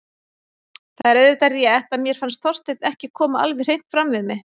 Það er auðvitað rétt að mér fannst Þorsteinn ekki koma alveg hreint fram við mig.